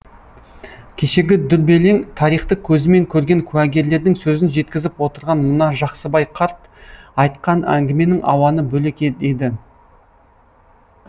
кешегі дүрбелең тарихты көзімен көрген куәгерлердің сөзін жеткізіп отырған мына жақсыбай қарт айтқан әңгіменің ауаны бөлек еді